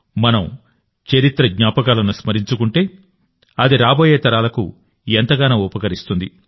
మనం చరిత్ర జ్ఞాపకాలను స్మరించుకుంటే అది రాబోయే తరాలకు ఎంతగానో ఉపకరిస్తుంది